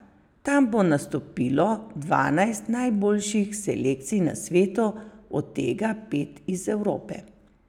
Tam bo nastopilo dvanajst najboljših selekcij na svetu, od tega pet iz Evrope.